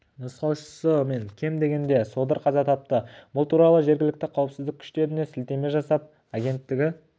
нұсқаушысы мен кем дегенде содыр қаза тапты бұл туралы жергілікті қауіпсіздік күштеріне сілтеме жасап агенттігі